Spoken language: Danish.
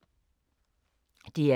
DR2